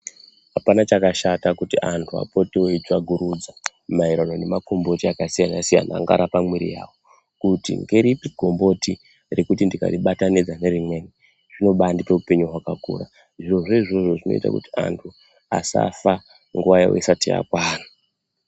Apana chakashata kuti antu apote eyitsvagurudza mayererano nemagomboti akasiyana siyana angarapa mwiri yawo kuti ngeripi gomboti rekuti ndikaribatanidza nerimweni zvinobandipe hupenyu hwakakura, zviro zvo izvozo zvinoite kuti antu asafa nguwa yawo isati yakwana.